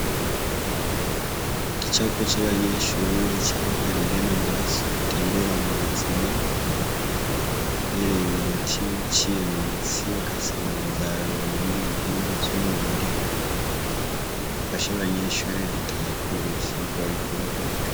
Igicapo c'abanyeshure cerekana ingene amaraso atembera mu buzima uhereye mu mutima aciye mu mitsi agasanzara mubindi bihimba vy'umubiri ifasha abanyeshure gutahura ivyirwa bariko bariga.